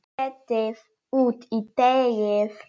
Setjið út í deigið.